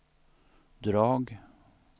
drag